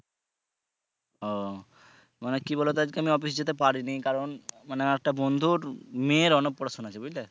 ও মানে কি বলব তো আজকে আমি অফিসে যেতে পারিনি কারন মানে একটা বন্ধুর মেয়ে অন্নপ্রসনা আছে বুজলে।